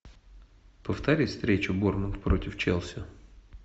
повтори встречу борнмут против челси